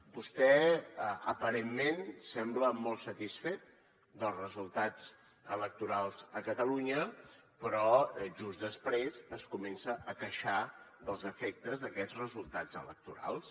vostè aparentment sembla molt satisfet dels resultats electorals a catalunya però just després es comença a queixar dels efectes d’aquests resultats electorals